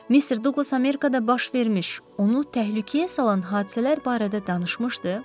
Mister Duqlas Amerikada baş vermiş, onu təhlükəyə salan hadisələr barədə danışmışdı?